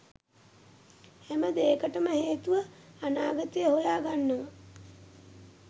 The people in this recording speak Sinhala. හැම දේකටම හේතුව අනාගතේ හොයාගන්නව.